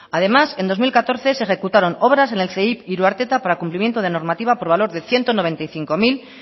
además en dos mil catorce se ejecutaron obras en el ceip iruarteta para el cumplimiento de normativa por valor de ciento noventa y cinco mil